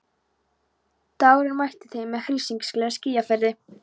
Dagurinn mætti þeim með hryssingslegu skýjafari.